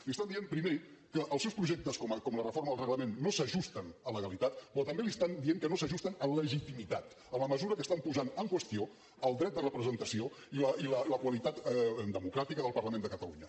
li estan dient primer que els seus projectes com la reforma del reglament no s’ajusten a legalitat però també li estan dient que no s’ajusten a legitimitat en la mesura que estan posant en qüestió el dret de representació i la qualitat democràtica del parlament de catalunya